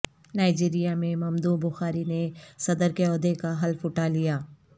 Nigeria میں ممدوع بخاری نے صدر کے عہدے کا حلف اٹھا لیا